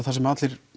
það sem allir